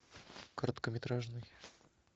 короткометражный